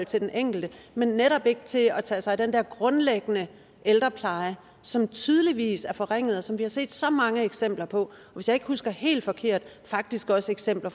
til den enkelte men netop ikke til at tage sig af den der grundlæggende ældrepleje som tydeligvis er forringet og som vi har set så mange eksempler på hvis jeg ikke husker helt forkert faktisk også eksempler